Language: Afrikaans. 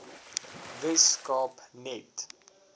wes kaap net